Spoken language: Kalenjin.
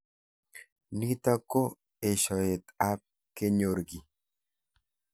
Nitok ko eshoet ab kenyor ki.